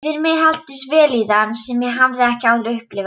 Yfir mig helltist vellíðan sem ég hafði ekki áður upplifað.